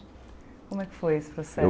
Como é que foi esse